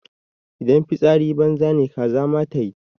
Idan fitsari banza ne kaza ma tayi mana.